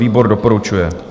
Výbor doporučuje.